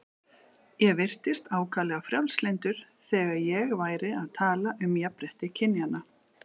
Ég virtist ákaflega frjálslyndur þegar ég væri að tala um jafnrétti kynjanna.